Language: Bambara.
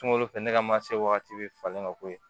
Sunkalo fɛ ne ka mansin wagati bɛ falen ka bɔ yen